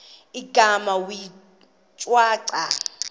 igama wee shwaca